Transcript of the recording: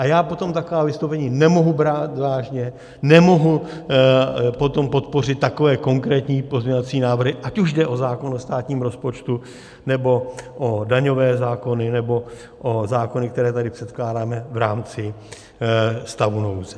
A já potom taková vystoupení nemohu brát vážně, nemohu potom podpořit takové konkrétní pozměňovací návrhy, ať už jde o zákon o státním rozpočtu, nebo o daňové zákony, nebo o zákony, které tady předkládáme v rámci stavu nouze.